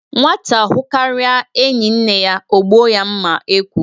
Nwata hụkaria enyi nne ya o gbụo ya mma ekwu